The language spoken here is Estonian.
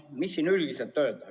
Mis siin üldiselt öelda?